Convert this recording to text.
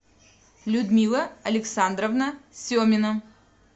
людмила александровна семина